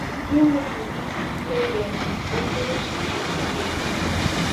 Gịnị bụ isi ihe ga-eme ka ụkpụrụ Chineke na-eduzi?